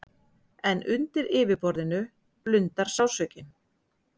En undir yfirborðinu blundar sársaukinn.